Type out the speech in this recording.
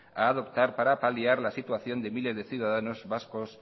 a adoptar para paliar la situación de miles de ciudadanos vascos